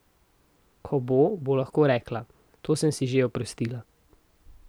Ko bo, bo lahko rekla: 'To sem si že oprostila'.